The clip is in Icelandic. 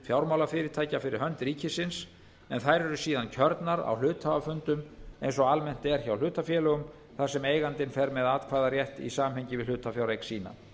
fjármálafyrirtækja fyrir hönd ríkisins en þær eru síðan kjörnar á hluthafafundum eins og almennt er hjá hlutafélögum þar sem eigandinn fer með atkvæðarétt í samhengi við hlutafjáreign sína